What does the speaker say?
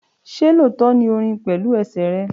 ṣe lóòótọ́ ní o rìn pẹ̀lú ẹsẹ̀ rẹ?